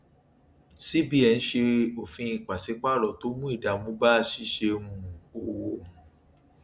cbn ṣe òfin paṣípààrọ tó mú ìdààmú bá ṣíṣe um òwò um